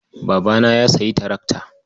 Babana ya sayi tarakta.